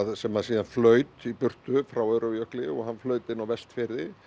sem síðan flaut í burtu frá Öræfajökli hann flaut inn á Vestfirði